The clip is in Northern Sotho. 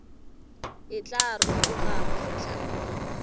e tla rotoga go fihla